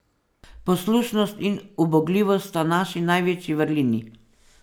Poslušnost in ubogljivost sta naši največji vrlini.